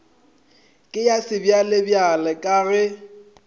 ke ya sebjalebjale ka ge